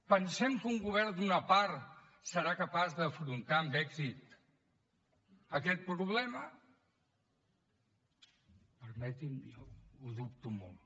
pensem que un govern d’una part serà capaç d’afrontar amb èxit aquest problema permetin me jo ho dubto molt